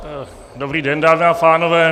Dobrý den, dámy a pánové.